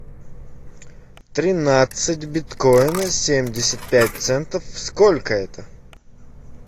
тринадцать биткоина семьдесят пять центов сколько это